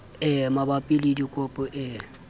e mabapi le dikopo e